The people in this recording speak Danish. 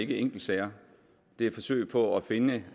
ikke enkeltsager det er et forsøg på at finde